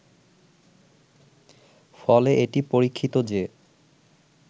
ফলে এটি পরীক্ষিত যে